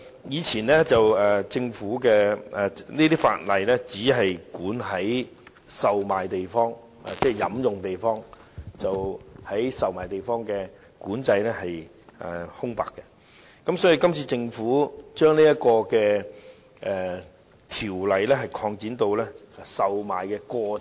以前這些法例不規管售賣地方，只管制飲用地方，售賣地方是留有空白的，這次政府將條例規管範圍擴展至售賣的過程。